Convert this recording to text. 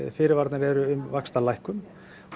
fyrirvararnir eru um vaxtalækkun